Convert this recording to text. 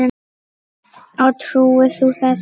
Og trúir þú þessu?